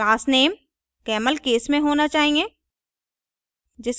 class name camelcase में होना चाहिए